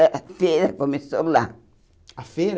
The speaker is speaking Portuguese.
A feira começou lá. A feira